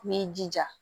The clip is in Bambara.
N b'i jija